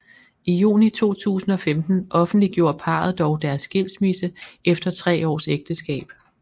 I juni 2015 offentliggjorde parret dog deres skilsmisse efter tre års ægteskab